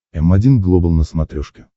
м один глобал на смотрешке